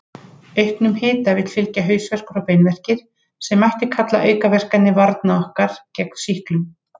Auknum hita vill fylgja hausverkur og beinverkir, sem mætti kalla aukaverkanir varna okkar gegn sýklum.